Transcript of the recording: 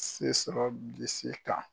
Se sɔrɔ Bilisi se kan